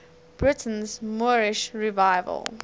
britain's moorish revival